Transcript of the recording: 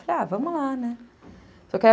Falei, ah, vamos lá, né.